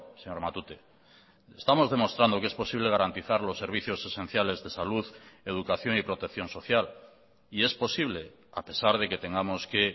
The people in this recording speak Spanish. señor matute estamos demostrando que es posible garantizar los servicios esenciales de salud educación y protección social y es posible a pesar de que tengamos que